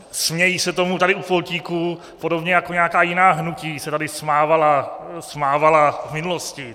Smějí se tomu tady u pultíku, podobně jako nějaká jiná hnutí se tady smávala v minulosti.